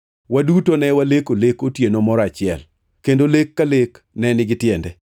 Waduto ne waleko lek otieno moro achiel, kendo lek ka lek ne nigi tiende.